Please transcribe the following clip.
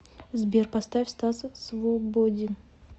сбер поставь стас свободин